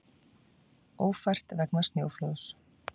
Ófært vegna snjóflóðs